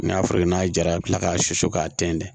N'a fɔr'i ye n'a jara i bi kila k'a susu k'a tɛntɛn